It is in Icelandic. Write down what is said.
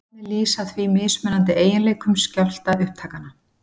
Kvarðarnir lýsa því mismunandi eiginleikum skjálftaupptakanna.